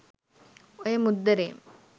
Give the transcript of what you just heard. ඔය මුද්දරේ